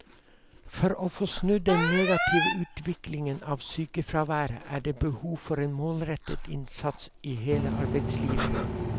For å få snudd den negative utviklingen av sykefraværet er det behov for en målrettet innsats i hele arbeidslivet.